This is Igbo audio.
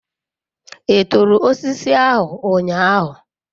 I turu osiso ahu unyahu?